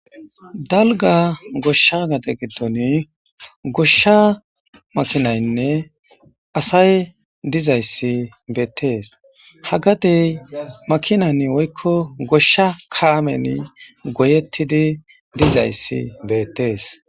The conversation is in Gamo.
dalga goshsha gade giddon goshsha makinaynne asay dizayssi beettees hagadey makinan woykko goshsha kaamen goyettidi dizayssi beettees